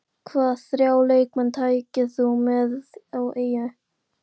Hvaða þrjá leikmenn tækir þú með á eyðieyju?